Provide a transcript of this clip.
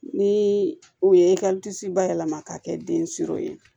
Ni u ye bayɛlɛma ka kɛ den ye